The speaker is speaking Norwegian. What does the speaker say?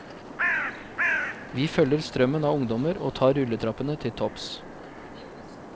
Vi følger strømmen av ungdommer og tar rulletrappene til topps.